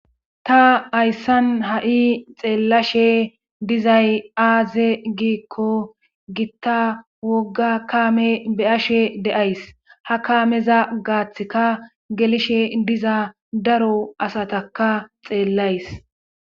ta ayssan ha7i xeellashe dizay aaze giikko gitta wogga kaame beyashe deays ha kaameza gaaththika gelishe diza daro asataka xeellays